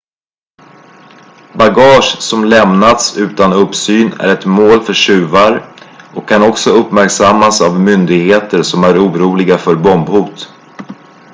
bagage som lämnats utan uppsyn är ett mål för tjuvar och kan också uppmärksammas av myndigheter som är oroliga för bombhot